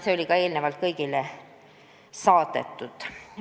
See oli ka eelnevalt kõigile saadetud.